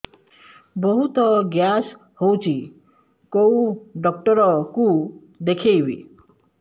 ବହୁତ ଗ୍ୟାସ ହଉଛି କୋଉ ଡକ୍ଟର କୁ ଦେଖେଇବି